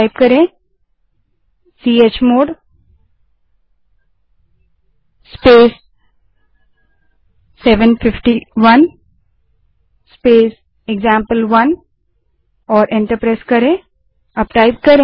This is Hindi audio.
अब चमोड़ स्पेस 751 स्पेस एक्जाम्पल1 कमांड टाइप करें और एंटर दबायें